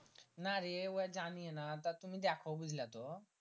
না রে ও জানিয়ে না বা তুমি দ্যাখো বুজলা তো